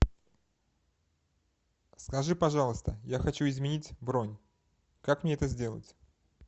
скажи пожалуйста я хочу изменить бронь как мне это сделать